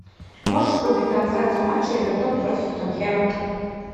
можешь врубить трансляцию матча эвертон против тоттенхэма